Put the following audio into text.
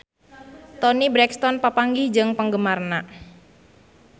Toni Brexton papanggih jeung penggemarna